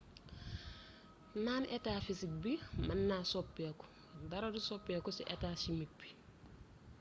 naan etaa fisik bi mën na soppiku dara du soppiku ci etaa chimik bi